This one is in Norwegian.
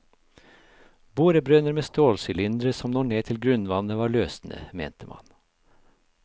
Borebrønner med stålsylindre som når ned til grunnvannet, var løsenet, mente man.